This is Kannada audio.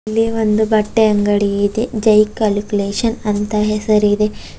ಇಲ್ಲಿ ಒಂದು ಬಟ್ಟೆ ಅಂಗಡಿ ಇದೆ ಜೈ ಕಲುಕ್ಲೇಶನ್ ಅಂತ ಹೆಸರಿದೆ.